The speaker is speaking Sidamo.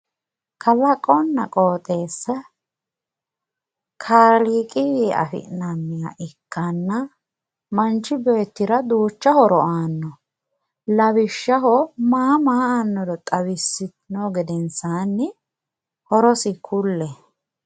kalaqonna qoxeessa kaliiqiwi afi'nanniha ikkanna manchi beettira duucha horo aanno lawishshaho maa maa aannoro xawissino gedensaanni horosi kulle